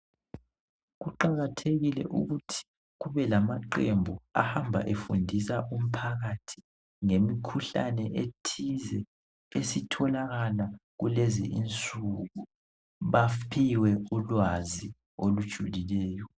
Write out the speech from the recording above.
Kuqakathekile ukuthi kubelama qhembu ahamba efundisa umphakathi ngemkhuhlane etize esitholakala kulezi insuku baphiwe ulwazi olujulileyo